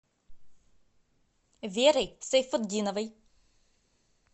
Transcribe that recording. верой сайфутдиновой